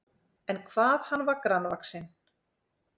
En hvað hann var grannvaxinn!